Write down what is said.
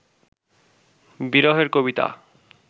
বিরহের কবিতা